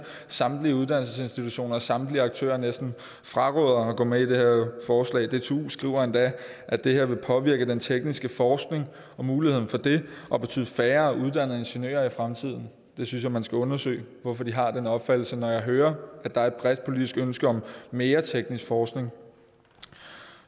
samtlige uddannelsesinstitutioner samtlige aktører næsten fraråder at gå med i det her forslag dtu skriver endda at det her vil påvirke den tekniske forskning og mulighederne for det og betyde færre uddannede ingeniører i fremtiden jeg synes at man skal undersøge hvorfor de har den opfattelse når jeg hører at der er et bredt politisk ønske om mere teknisk forskning